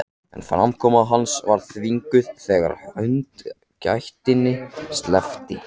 En framkoma hans var þvinguð þegar hundakætinni sleppti.